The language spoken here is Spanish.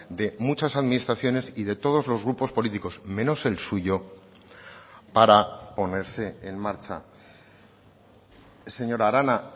de muchas administraciones y de todos los grupos políticos menos el suyo para ponerse en marcha señora arana